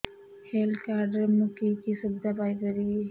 health card ରେ ମୁଁ କି କି ସୁବିଧା ପାଇବି